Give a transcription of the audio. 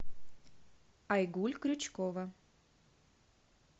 айгуль крючкова